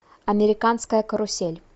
американская карусель